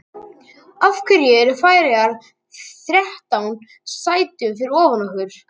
Af hverju eru Færeyjar þrettán sætum fyrir ofan okkur?